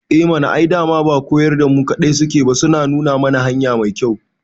Eh mana, ai dama ba koyar da mu kaɗai suke ba suna nuna mana hanya mai kyau